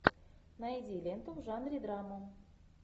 найди ленту в жанре драма